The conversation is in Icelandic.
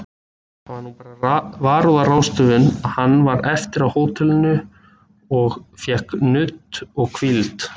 Það var bara varúðarráðstöfun að hann var eftir á hótelinu of fékk nudd og hvíld.